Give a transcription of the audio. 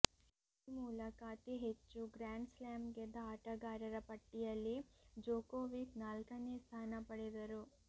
ಈ ಮೂಲಕ ಅತಿ ಹೆಚ್ಚು ಗ್ರ್ಯಾಂಡ್ ಸ್ಲ್ಯಾಮ್ ಗೆದ್ದ ಆಟಗಾರರ ಪಟ್ಟಿಯಲ್ಲಿ ಜೊಕೋವಿಕ್ ನಾಲ್ಕನೇ ಸ್ಥಾನ ಪಡೆದರು